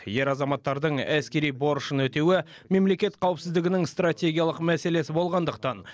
ер азаматтардың әскери борышын өтеуі мемлекет қауіпсіздігінің стратегиялық мәселесі болғандықтан